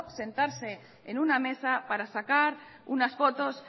sentarse en una mesa para sacar unas fotos